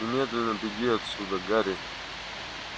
немедленно беги отсюда гарри